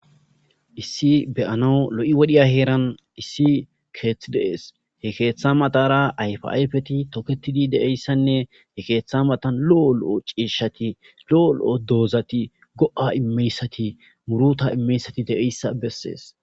issi be'anwu lo7i wodhiya heeran issi keeththi deees he keeththa matara ayfayfeti toketidi de7eyssanne he keeththa matan lo7o lo7o ciishshati lo7o lo7o doozati go7a immeyssati muruta immeyssati de7eyssa bessees